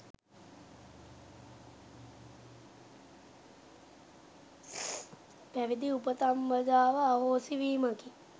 පැවිදි උපසම්පදාව අහෝසි වීමකි.